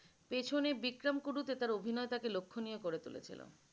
পেছনে বিক্রম কুরুতে তার অভিনয় তাকে লক্ষনীও করে তুলেছিল।